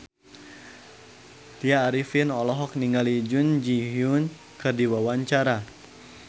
Tya Arifin olohok ningali Jun Ji Hyun keur diwawancara